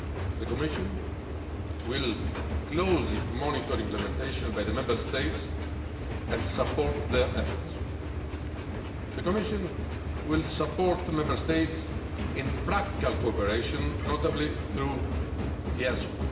The Commission will closely monitor implementation by the Member States and support their efforts. The Commission will support the Member States in practical cooperation, notably through EASO.